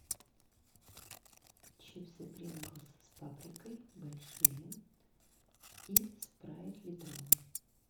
чипсы принглс с паприкой большие и спрайт литровый